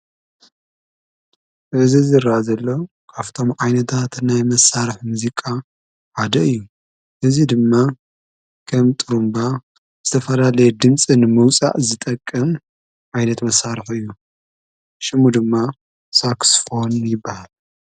በዘ ዝራ ዘለ ኣፍቶም ዓይነታት ናይ መሣርሕ ምዚቃ ዓደ እዩ እዙይ ድማ ከም ጥሩምባ ዝተፈላለየ ድምፂንመውፃእ ዝጠቅ ዓይነት መሣርሕ እዩ ሽሙ ድማ ሳክስፎን ይበሃል